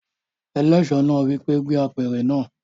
Eléso náà wí pé "gbé apẹ̀rẹ̀ náà!"